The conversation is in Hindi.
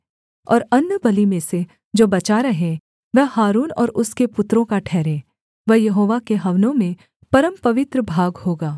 और अन्नबलि में से जो बचा रहे वह हारून और उसके पुत्रों का ठहरे वह यहोवा के हवनों में परमपवित्र भाग होगा